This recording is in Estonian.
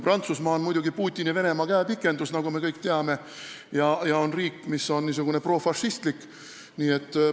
Prantsusmaa on muidugi Putini Venemaa käepikendus, nagu me kõik teame, ja selline riik, mis on n-ö profašistlik.